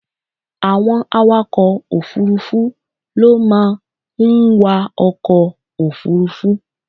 Àwọn Awakọ̀ òfuurufú ló máa ń wa ọkọ̀ òfuurufú.